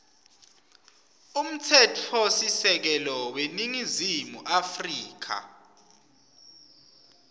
umtsetfosisekelo weningizimu afrika